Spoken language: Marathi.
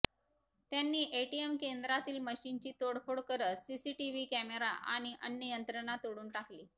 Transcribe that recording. त्यांनी एटीएम केंद्रातील मशीनची तोडफोड करत सीसीटीव्ही कॅमेरा आणि अन्य यंत्रणा तोडून टाकली